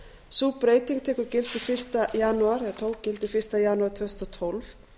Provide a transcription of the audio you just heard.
sú breyting tekur gildi eða tók gildi fyrsta janúar tvö þúsund og tólf